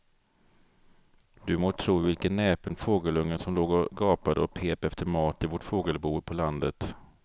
Du må tro vilken näpen fågelunge som låg och gapade och pep efter mat i vårt fågelbo på landet.